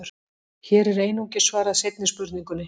Hér er einungis svarað seinni spurningunni.